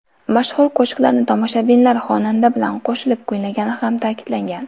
Mashhur qo‘shiqlarni tomoshabinlar xonanda bilan qo‘shilib kuylagani ham ta’kidlangan.